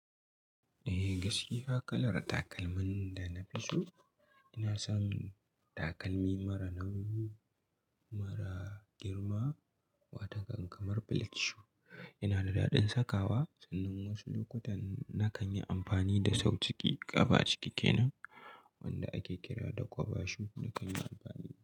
Eh, gaskiya kalar takalmin da na fi so ina son takalmi mara nauyi, mara girma, wataƙan kamar black shoe. Ina da daɗin saka wa, sannan wasu lokutan na kan yi amfani da sau ciki, ƙaba ciki kenan wanda ake kira da kwaba shoe na kan yi amfani da.